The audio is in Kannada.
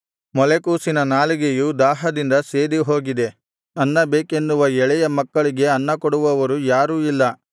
ಮೊಲೆಕೂಸಿನ ನಾಲಿಗೆಯು ದಾಹದಿಂದ ಸೇದಿಹೋಗಿದೆ ಅನ್ನ ಬೇಕೆನ್ನುವ ಎಳೆಯ ಮಕ್ಕಳಿಗೆ ಅನ್ನಕೊಡುವವರು ಯಾರೂ ಇಲ್ಲ